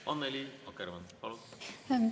Annely Akkermann, palun!